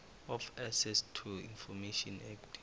of access to information act